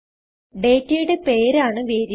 ഡേറ്റയുടെ പേര് ആണ് വേരിയബിൾ